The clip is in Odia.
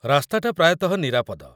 ରାସ୍ତାଟା ପ୍ରାୟତଃ ନିରାପଦ ।